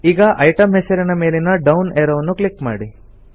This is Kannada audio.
ಈಗ ಇಟೆಮ್ ಹೆಸರಿನ ಸೆಲ್ ಮೇಲಿನ ಡೌನ್ ಏರೋ ಅನ್ನು ಕ್ಲಿಕ್ ಮಾಡಿ